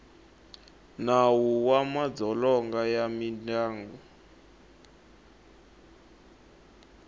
nawu wa madzolonga ya mindyangu